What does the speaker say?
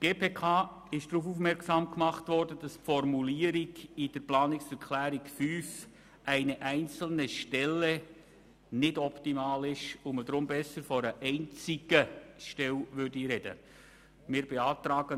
Die GPK wurde darauf aufmerksam gemacht, dass die Formulierung in der Planungserklärung 5 «eine einzelne Stelle» nicht optimal sei und man besser von «einer einzigen Stelle» sprechen würde.